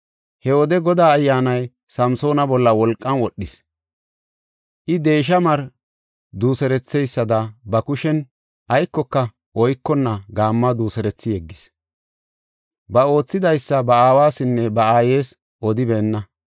He wode Godaa Ayyaanay Samsoona bolla wolqan wodhis; I deesha mari duuseretheysada ba kushen aykoka oykonna gaammuwa duuserethi yeggis. Ba oothidaysa ba aawasinne ba aayes odibeenna.